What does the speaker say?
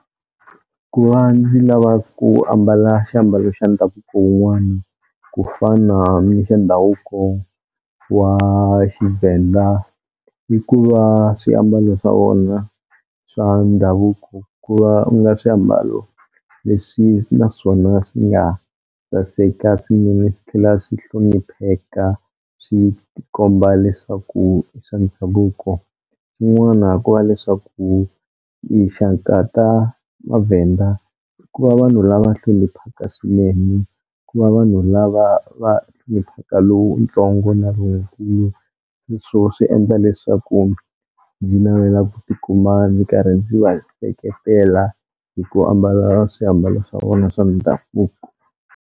Ku va ndzi lava ku ambala xiambalo xa ndhavuko wun'wana ku fana ni xa ndhavuko wa Xivenda i ku va swiambalo swa vona swa ndhavuko ku va u nga swiambalo leswi naswona swi nga saseka swinene swi tlhela swi hlonipheka swi ti komba leswaku i swa ndhavuko, yin'wana ku va leswaku tinxaka ta maVhenda ku va vanhu lava hloniphaka swinene, ku va vanhu lava va hloniphaka lowutsongo na lonkulu sweswo swi endla leswaku ndzi navela ku tikuma ndzi karhi ndzi va seketela hi ku ambala swiambalo swa vona swa ndhavuko.